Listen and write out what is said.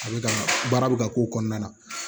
A bɛ ka baara bɛ ka k'o kɔnɔna na